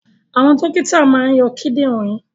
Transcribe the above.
Àwọn dókítà máa ń yọ kidinrin